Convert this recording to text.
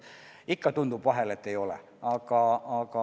Ikka vahel tundub, et ei ole.